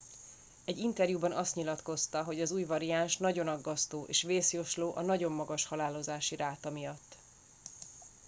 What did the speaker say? egy interjúban azt nyilatkozta hogy az új variáns nagyon aggasztó és vészjósló a nagyon magas halálozási ráta miatt